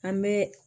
An bɛ